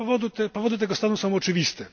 Powody tego stanu są oczywiste.